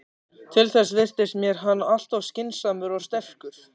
Til þess virtist mér hann alltof skynsamur og sterkur.